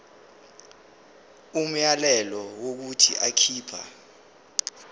umyalelo wokuthi akhipha